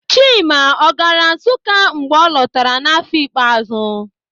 Chima ọ gaara Nsụka mgbe ọ lọtara n'áfọ̀ ikpeàzụ́?